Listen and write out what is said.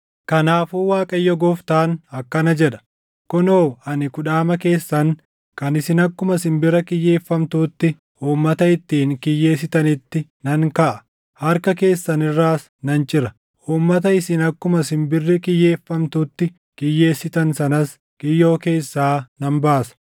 “ ‘Kanaafuu Waaqayyo Gooftaan akkana jedha: Kunoo, ani kudhaama keessan kan isin akkuma simbira kiyyeeffamtuutti uummata ittiin kiyyeessitanitti nan kaʼa; harka keessan irraas nan cira; uummata isin akkuma simbirri kiyyeeffamtutti kiyyeessitan sanas kiyyoo keessaa nan baasa.